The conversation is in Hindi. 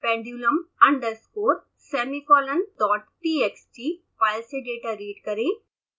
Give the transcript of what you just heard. pendulumunderscoresemicolondottxt फाइल से डेटा रीड करें